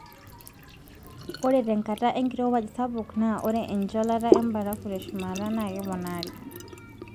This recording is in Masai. Ore tenkata enkirowuaj sapuk naa ore encholata embarafu teshumata naa keponati.